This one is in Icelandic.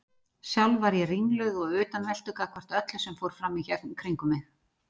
Sjálf var ég ringluð og utanveltu gagnvart öllu sem fram fór í kringum mig.